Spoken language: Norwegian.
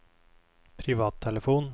privattelefon